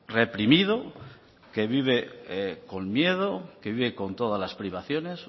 reprimido que vive con miedo que vive con todas las privaciones